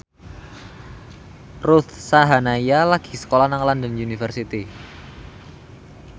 Ruth Sahanaya lagi sekolah nang London University